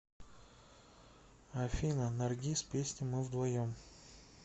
афина наргиз песня мы вдвоем